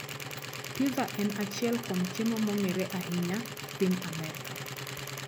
Pizza en achiel kuom chiemo mong'ere ahinya e piny Amerka